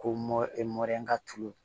Ko mɔ e mɔye ka tulu